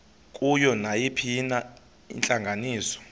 kuyo nayiphina intlanganiso